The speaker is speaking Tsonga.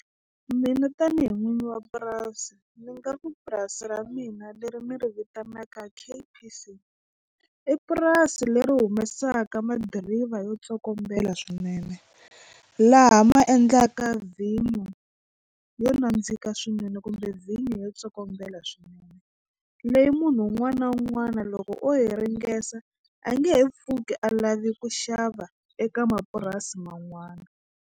Mina tanihi n'wini wa purasi ni nga ku purasi ra mina leri mi ri vitanaka i purasi leri humesaka madiriva yo tsokombela swinene laha ma endlaka vhinyo yo nandzika swinene kumbe vhinyo yo tsokombela swinene leyi munhu un'wana na un'wana loko hi ringesa a nge he pfuki a lave ku xava eka mapurasi man'wana.